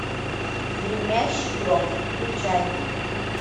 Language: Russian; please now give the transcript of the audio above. гремящий гром включай